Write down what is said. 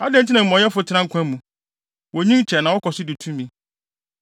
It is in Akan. Adɛn nti na amumɔyɛfo tena nkwa mu? Wonyin kyɛ na wɔkɔ so di tumi.